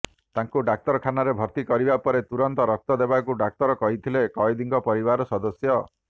ତାଙ୍କୁ ଡାକ୍ତରଖାନାରେ ଭର୍ତ୍ତି କରିବା ପରେ ତୁରନ୍ତ ରକ୍ତ ଦେବାକୁ ଡାକ୍ତର କହିଥିଲେ କଏଦୀଙ୍କ ପରିବାର ସଦସ୍ୟ